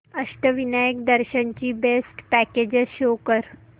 अष्टविनायक दर्शन ची best packages show कर